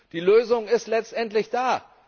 Die Lösung ist letztendlich da!